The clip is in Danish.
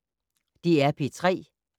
DR P3